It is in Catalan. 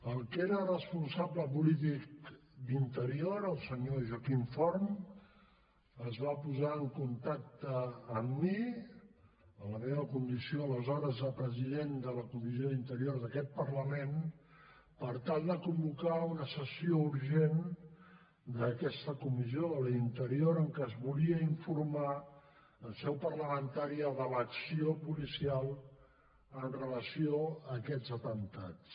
el que era responsable polític d’interior el senyor joaquim forn es va posar en contacte amb mi en la meva condició aleshores de president de la comissió d’interior d’aquest parlament per tal de convocar una sessió urgent d’aquesta comissió la d’interior en què es volia informar en seu parlamentària de l’acció policial amb relació a aquests atemptats